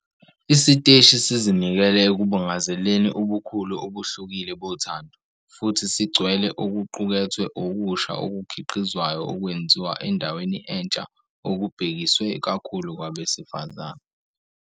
Isiteshi sizinikele ekubungazeleni ubukhulu obuhlukile bothando, futhi sigcwele okuqukethwe okusha okukhiqizwayo okwenziwa endaweni entsha okubhekiswe kakhulu kwabesifazane.